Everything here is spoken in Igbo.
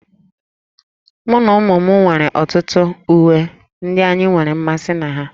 Mụ na ụmụ m nwere ọtụtụ uwe ndị anyị nwere mmasị na ha